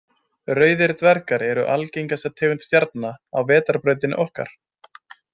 Rauðir dvergar eru algengasta tegund stjarna á Vetrarbrautinni okkar.